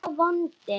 sá vondi